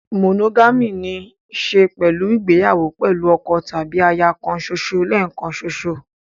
Monogamy ní í ṣe pẹ̀lú ìgbéyàwó pẹ̀lú ọkọ tàbí aya kan ṣoṣo lẹ́ẹ̀kan ṣoṣo.